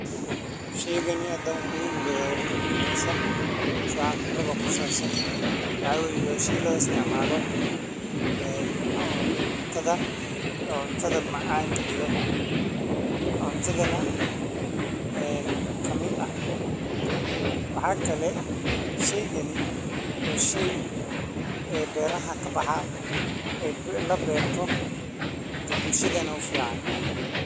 Sheeygani hadan khibradisa mise waxa khibrado kusabsan waxa weyee wa shay lo isticmala ee cuuntada ee cuntada macan kadhigo cuntadhana ee kamiid ah waxa kalee shaygani wa shay ee beraha kabaxa ee labeerto dee bulshadana u ficaan.